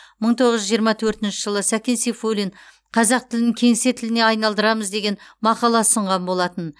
мың тоғыз жүз жиырма төртінші жылы сәкен сейфуллин қазақ тілін кеңсе тіліне айналдырамыз деген мақала ұсынған болатын